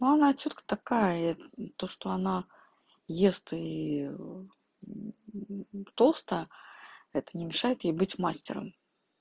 но она тётка такая то что она ест и толстая это не мешает ей быть мастером